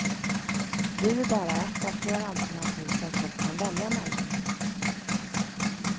Du är bara ett av flera alternativ som folk kan välja mellan.